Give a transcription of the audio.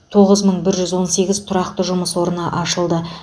тоғыз мың бір жүз он сегіз тұрақты жұмыс орны ашылды